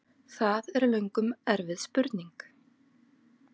Það er löngum erfið spurning!